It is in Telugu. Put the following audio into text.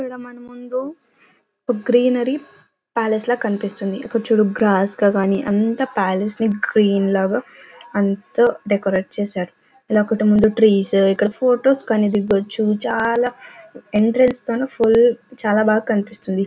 ఇక్కడ మన ముందు ఒక గ్రీనరీ ప్యాలెస్ లాగా కనిపిస్తుంది. ఇక్కడ చూడు గ్రాస్ కానీ అంతా పాలస్ గ్రీన్ లాగా అంతా డెకరేట్ చేశారు. ట్రీస్ ఇక్కడ ఫొటోస్ కానీ దిగొచ్చు. చాలా ఎంట్రెన్స్ చాలా బాగా కనుపిస్తుంది.